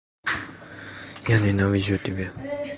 я ненавижу тебя